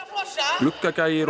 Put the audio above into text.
Gluggagægir og